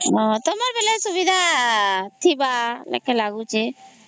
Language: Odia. ତମର ବେଲେ ତ ସୁବିଧା ଥିବା ବୋଲି ଲାଗୁଚି